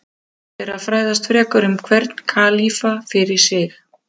Rétt er að fræðast frekar um hvern kalífa fyrir sig.